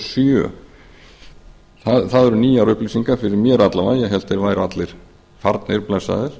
sjö það eru nýjar upplýsingar fyrir mér alla vega ég hélt að þeir væru allir farnir blessaðir